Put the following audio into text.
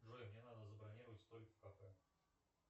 джой мне надо забронировать столик в кафе